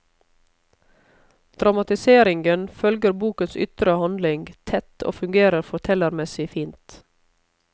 Dramatiseringen følger bokens ytre handling tett og fungerer fortellermessig fint.